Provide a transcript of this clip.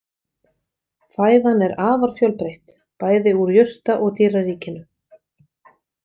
Fæðan er afar fjölbreytt, bæði úr jurta- og dýraríkinu.